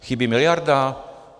Chybí miliarda?